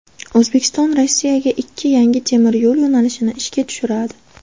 O‘zbekiston Rossiyaga ikki yangi temir yo‘l yo‘nalishini ishga tushiradi.